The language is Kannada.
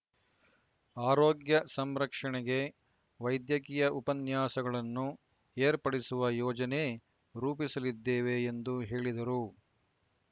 ಆರೋಗ್ಯ ಸಂರಕ್ಷಣೆಗೆ ವೈದ್ಯಕೀಯ ಉಪನ್ಯಾಸಗಳನ್ನು ಏರ್ಪಡಿಸುವ ಯೋಜನೆ ರೂಪಿಸಲಿದ್ದೇವೆ ಎಂದು ಹೇಳಿದರು